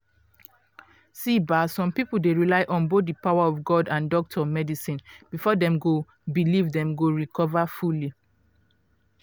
see ba some people dey rely on both di power of god and doctor medicine before dem believe dem go recover fully.